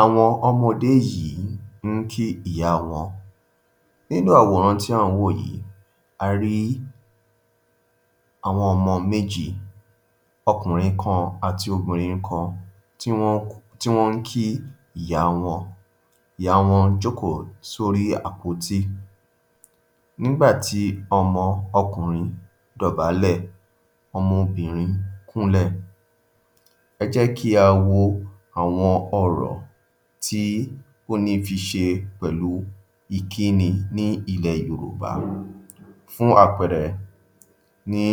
Àwọn ọmọdé yìí ń kí ìyá wọn. Nínú ̀aworan ti a n wo yii, a rí àwọn ọmọ méjì, ọkùnrin kan àti obìnrin kan tí wọ́n tí wọ́n ń kí ìyá wọn. Ìyá wọn jókòó sórí àpótí. Nígbà tí ọmọ ọkùnrin dọ̀bálẹ̀, ọmọ obìnrin kúnlẹ̀. Ẹ jẹ́ kí á wo àwọn ọ̀rọ̀ tí ó ní fi ṣe pẹ̀lú ìkíni ní ilẹ̀ Yorùbá. Fún àpẹẹrẹ ní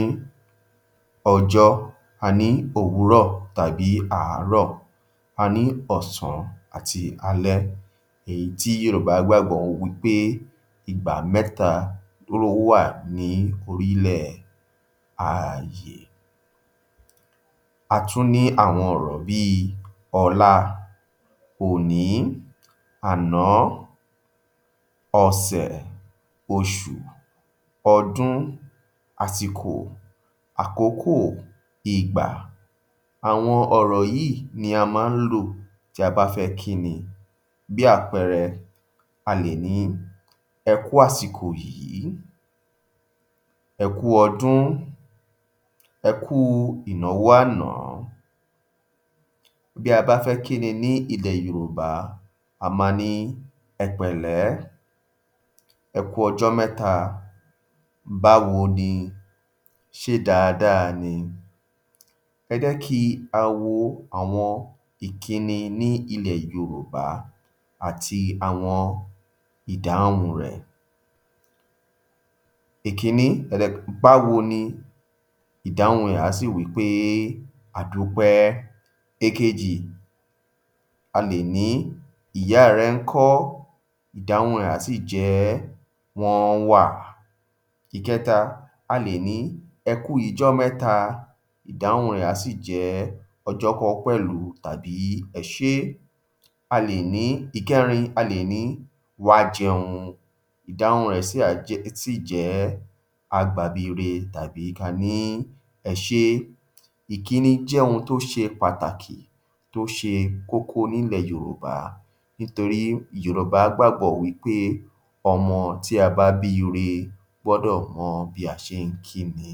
ọjọ́, a ní òwúrọ̀ tàbí àárọ̀, a ní ọ̀sán àti alẹ́ èyí tí Yorùbá gbàgbọ́ wí pé ìgbà mẹ́ta ló wà ní orílẹ̀ ààyè. A tún ní àwọn ọ̀rọ̀ bí i ọ̀la, òní, àná, ọ̀sẹ̀, oṣù, ọdún, àsìkò, àkókò, ìgbà. Àwọn ọ̀rọ̀ yíì ni a má ń lò bí a bá fẹ́ kí ni, bí àpẹẹrẹ a lè ní ‘ẹ kú àsìkò yìí, ẹ kú ọdún, ẹ kú ìnàwó àná. Bí a bá fẹ́ kí ni ní ilè Yorùbá, a máa ní ẹ pẹ̀lé, ẹ kú ọjọ́ mẹ́ta, báwo ni, ṣé dáadáa ni? Ẹ jẹ́ kí á wo àwọn ìkíni ní ilẹ̀ Yorùbá àti àwọn ìdáhùn rẹ̀. Ìkínní, báwo ni, ìdáhùn rẹ̀ á sì wí pé, ‘A dúpẹ́’. Èkejì, a lè ní ‘Ìyá rẹ ńkọ́? Ìdáhùn rẹ̀ á sì jẹ́, ‘Wọ́n wà’. Ikẹta, a lè ní, ‘A kú ijọ́ mẹ́ta’. Ìdáhùn rẹ̀ á sì jẹ́, ‘Ọjọ́ kan-án pẹ̀lú’ tàbí ‘Ẹ ṣé’. A lè ní, ìkẹ́rin, ‘Wá jẹun’. Ìdáhùn rẹ̀ sì á jẹ́, sì jẹ́, ‘Áá gbabi ire’ tàbí ká a ní, ‘Ẹ ṣé’. Ìkíni jẹ́ ohun tó ṣe pàtàkì tó ṣe kókó nílẹ̀ Yorùbá nitorí Yorùbá gbàgbọ́ wí pé ọmọ tí a bá bíire gbọ́dọ̀ mọ bí a ṣe ń kí ni.